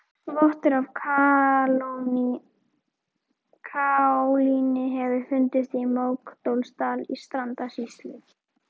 Vottur af kaólíni hefur fundist í Mókollsdal í Strandasýslu.